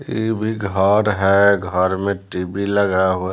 ये भी घर है घर में टी_वी लगा हुआ है।